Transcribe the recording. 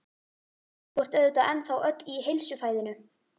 Þú ert auðvitað ennþá öll í heilsufæðinu?